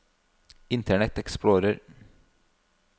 internet explorer